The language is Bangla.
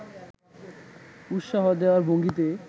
উৎসাহ দেওয়ার ভঙ্গীতে